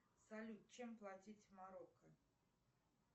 салют чем платить в марокко